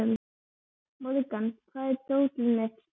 Morgan, hvar er dótið mitt?